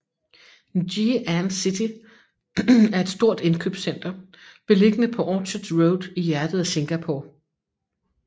Ngee Ann City er et stort indkøbscenter beliggende på Orchard Road i hjertet af Singapore